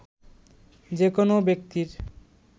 যে কোন ব্যক্তির